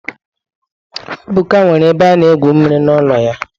Ebuka nwere ebe ana egwu mmiri n'ụlọ ya.